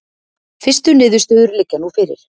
Fyrstu niðurstöður liggja nú fyrir